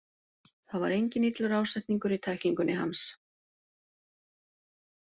Það var enginn illur ásetningur í tæklingunni hans.